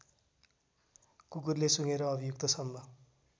कुकुरले सुँघेर अभियुक्तसम्म